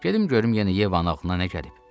Gedim görüm yenə Yevanın ağlına nə gəlib.